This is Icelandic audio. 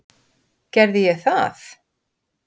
Gerði ég það?